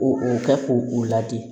Ko o kɛ k'o o ladi